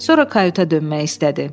Sonra kayuta dönmək istədi.